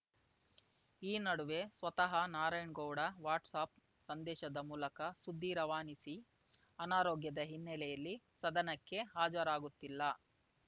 ಈ ನಡುವೆ ಸ್ವತಃ ನಾರಾಯಣ್ ಗೌಡ ವಾಟ್ಸ್ ಆಪ್‌ ಸಂದೇಶದ ಮೂಲಕ ಸುದ್ದಿ ರವಾನಿಸಿ ಅನಾರೋಗ್ಯದ ಹಿನ್ನೆಲೆಯಲ್ಲಿ ಸದನಕ್ಕೆ ಹಾಜರಾಗುತ್ತಿಲ್ಲ